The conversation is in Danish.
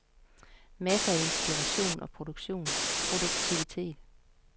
Masser af inspiration og produktivitet.